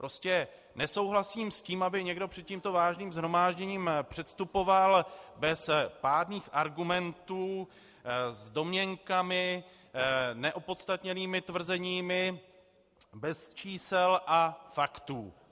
Prostě nesouhlasím s tím, aby někdo před tímto váženým shromážděním předstupoval bez pádných argumentů s domněnkami, neopodstatněnými tvrzeními, bez čísel a faktů.